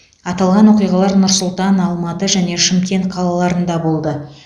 аталған оқиғалар нұр сұлтан алматы және шымкент қалаларында болды